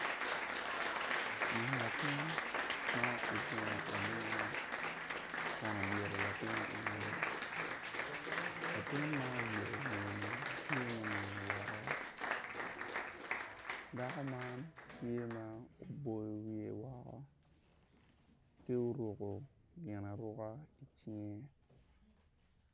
Min latin ma ogungu agunga ma obyelo latin ingeye latin ma obyelo ingeyeni tye ma onino woko dako man tye ma oboyo wiye woko ki uruku gin aruka i cinge